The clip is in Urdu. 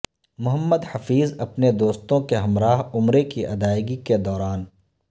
محمد حفیظ اپنے دوستوں کے ہمراہ عمرے کی ادائیگی کے دوران